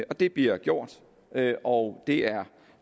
og det bliver gjort og det er